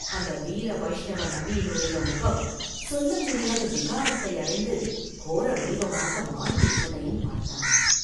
அந்த வீர வைஷ்ணவ நம்பியினுடைய முகம் சொல்ல முடியாத விகாரத்தை அடைந்து கோர வடிவமாக மாறியிருப்பதையும் பார்த்தான்.